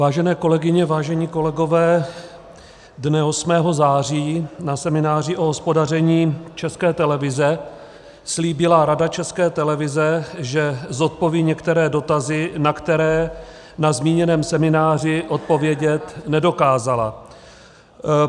Vážené kolegyně, vážení kolegov, dne 8. září na semináři o hospodaření České televize slíbila Rada České televize, že zodpoví některé dotazy, na které na zmíněném semináři odpovědět nedokázala.